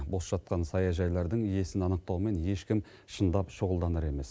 бос жатқан саяжайлардың иесін анықтаумен ешкім шындап шұғылданар емес